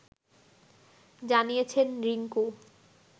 জানিয়েছেন রিংকু